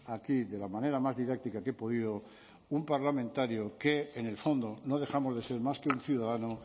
aquí de la manera más didáctica que he podido un parlamentario que en el fondo no dejamos de ser más que un ciudadano